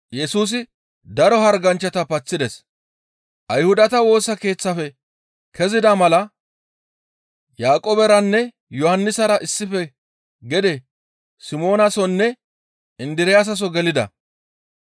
Ayhudata Woosa Keeththafe kezida mala Yaaqooberanne Yohannisara issife gede Simoonasonne Indiraasaso gelida.